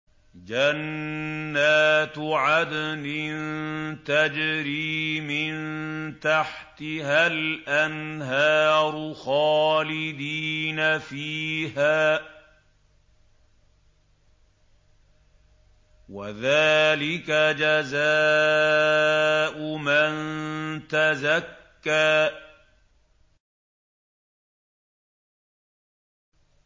جَنَّاتُ عَدْنٍ تَجْرِي مِن تَحْتِهَا الْأَنْهَارُ خَالِدِينَ فِيهَا ۚ وَذَٰلِكَ جَزَاءُ مَن تَزَكَّىٰ